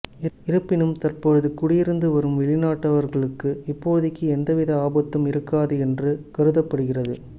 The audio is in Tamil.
இருப்பினும் தற்போது குடியிருந்து வரும் வெளிநாட்டவர்களுக்கு இப்போதைக்கு எந்த வித ஆபத்தும் இருக்காது என்று கருதப்படுகிறது